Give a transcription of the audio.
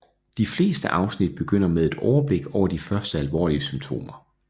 De fleste afsnit begynder med et overblik over de første alvorlige symptomer